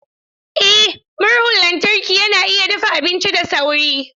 Eh murhun lantarki yana iya dafa abinci da sauri.